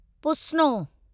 पुस्नो